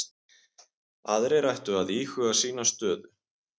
Aðrir ættu að íhuga sína stöðu